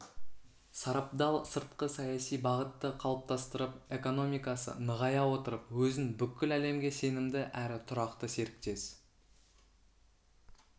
сарабдал сыртқы саяси бағытты қалыптастырып экономикасы нығая отырып өзін бүкіл әлемге сенімді әрі тұрақты серіктес